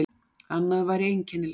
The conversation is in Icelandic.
Annað væri einkennilegt.